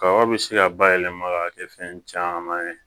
Kaba bɛ se ka bayɛlɛma ka kɛ fɛn caman ye